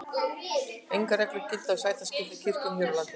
engar reglur gilda um sætaskipan í kirkjum hér á landi